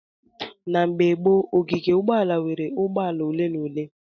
Na mgbe gboo, ogige ụgbọala nweere ụgbọ ala ole na ole.